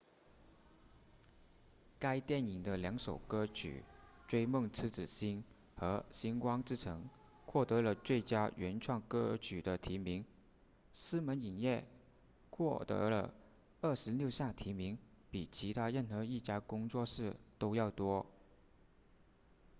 该电影的两首歌曲追梦痴子心和星光之城获得了最佳原创歌曲的提名狮门影业获得了26项提名比其他任何一家工作室都要多